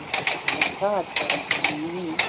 En það er ekki mín.